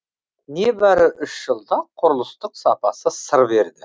небәрі үш жылда құрылыстың сапасы сыр берді